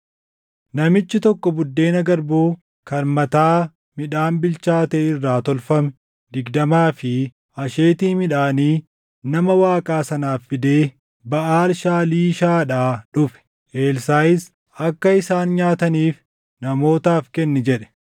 Namichi tokko buddeena garbuu kan mataa midhaan bilchaatee irraa tolfame digdamaa fi asheetii midhaanii nama Waaqaa sanaaf fidee Baʼaal Shaaliishaadhaa dhufe. Elsaaʼis, “Akka isaan nyaataniif namootaaf kenni” jedhe.